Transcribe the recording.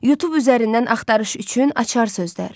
Youtube üzərindən axtarış üçün açar sözlər.